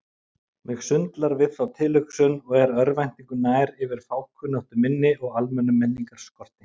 Mig sundlar við þá tilhugsun og er örvæntingu nær yfir fákunnáttu minni og almennum menningarskorti.